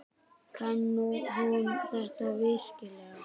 Kann hún þetta virkilega?